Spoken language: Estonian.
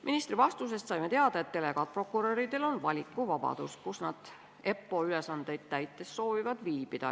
Ministri vastusest saime teada, et delegaatprokuröridel on valikuvabadus, kus nad EPPO ülesandeid täites soovivad viibida.